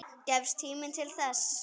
Gefst tími til þess?